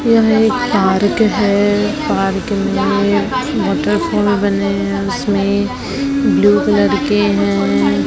यह एक पार्क है पार्क में वाटर फॉल बने हैं उसमें ब्लू कलर के हैं।